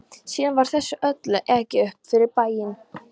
Síðan var þessu öllu ekið upp fyrir bæinn.